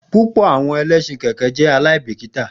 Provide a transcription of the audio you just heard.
Pupọ awọn ẹlẹṣin keke jẹ aibikita.